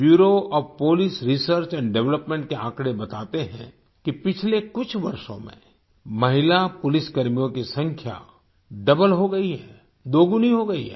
bureau of police research and development के आंकड़े बताते हैं कि पिछले कुछ वर्षों में महिला पुलिसकर्मियों की संख्या डबल हो गई है दोगुनी हो गई है